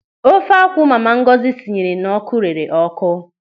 Ofe akwụ mama Ngọzi sinyere n'ọ́kụ́ rere ọ́kụ́.